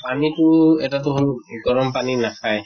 পানী টো এটা টো হʼল গৰম পানী নাখায়।